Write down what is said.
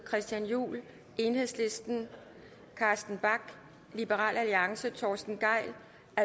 christian juhl carsten bach torsten gejl